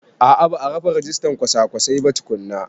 A a ba a rufe rijistan kwasa-kwasai ba tukunna.